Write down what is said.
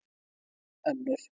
En nú er öldin önnur